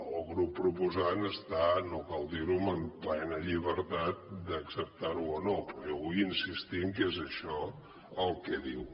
el grup proposant està no cal dir ho amb plena llibertat d’acceptar ho o no però jo vull insistir que és això el que diu